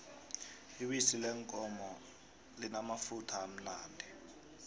ibisi leenkomo limamafutha limnandi